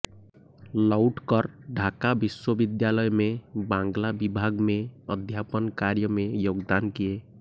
लौट कर ढाका विश्वविद्यालय में बांग्ला विभाग मे अध्यापन कार्य में योगदान किये